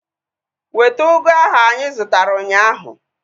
Weta ugu ahu anyị zụtara ụnyaahụ!